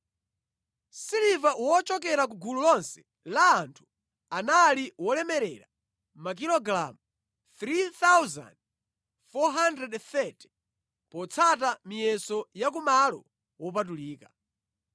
Siliva wochokera ku gulu lonse la anthu anali wolemerera makilogalamu 3,430, potsata miyeso ya ku malo wopatulika.